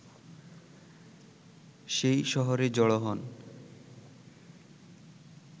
সেই শহরে জড়ো হন